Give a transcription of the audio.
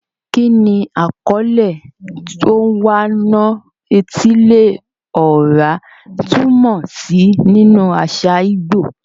Kí ni àkọlé "Onwa-na-etili-ora" túmọ̀ sí nínú àṣà ìgbò?